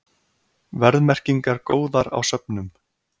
Verðmerkingar góðar á söfnum